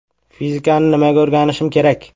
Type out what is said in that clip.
Fizikani nimaga o‘rganishim kerak?